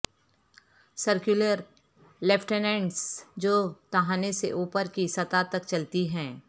circular لیفٹینٹس جو تہھانے سے اوپر کی سطح تک چلتی ہیں